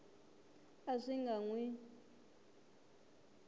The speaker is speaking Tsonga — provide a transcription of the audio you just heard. a swi nga n wi